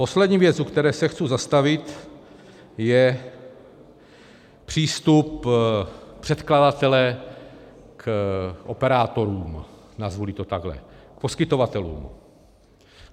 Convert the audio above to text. Poslední věc, u které se chci zastavit, je přístup předkladatele k operátorům, nazvu-li to takhle, k poskytovatelům.